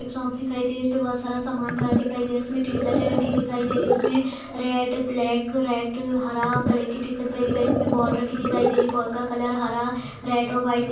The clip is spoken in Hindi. दिखाई दे रही है | इसमें बहुत सारा समान भरा दिखाई दे रहा है | इसमे टी-शर्ट रखी दिखाई दे रही है। इसमें रेड ब्लैक रेड हरा कलर की टी-शर्ट भरी दिखाई इसमें बॉल दिखाई दे रही है | बॉल का कलर हरा रेड और वाइट दि --